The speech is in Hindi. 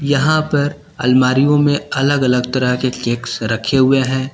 यहां पर अलमारियों में अलग अलग तरह के केक्स रखें हुए हैं।